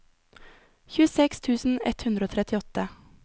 tjueseks tusen ett hundre og trettiåtte